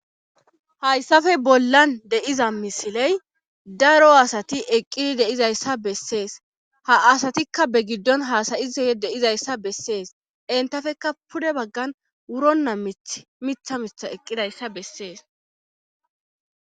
Hayssafe bollan deiza misiley daro asati eqqidi deizayssa bessees ha asatikka be giddon haasayiza deizayssa bessees entafekka pude baggan wuronna mith mitha mitha eqqidayssa bessees.